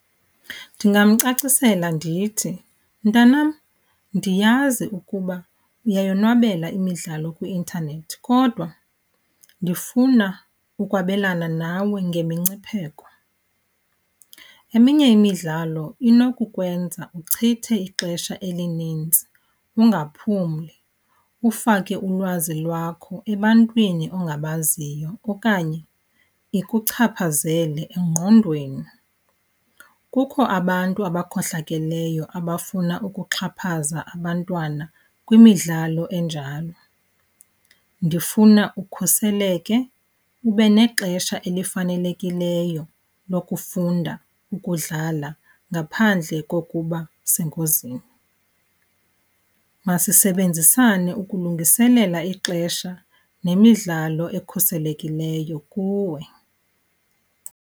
Ndingamcacisela ndithi, mntanam, ndiyazi ukuba uyayonwabele imidlalo kwi-intanethi kodwa ndifuna ukwabelana nawe ngemingcipheko. Eminye imidlalo inokukwenza uchithe ixesha elinintsi ungaphumli, ufake ulwazi lwakho ebantwini ongabaziyo okanye ikuchaphazele engqondweni. Kukho abantu abakhohlakeleyo abafuna ukuxhaphaza abantwana kwimidlalo enjalo. Ndifuna ukhuseleke, ube nexesha elifanelekileyo lokufunda ukudlala ngaphandle kokuba sengozini. Masisebenzisane ukulungiselela ixesha nemidlalo ekhuselekileyo kuwe.